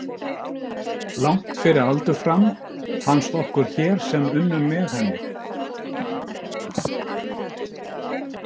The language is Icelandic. Langt fyrir aldur fram, fannst okkur hér sem unnum með henni.